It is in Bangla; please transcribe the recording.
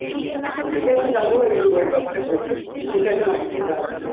ঠিক আছে যাব ওই ব্যাপারে ওই কথাটাই বলবো ঠিক আছে রাখছি তাহলে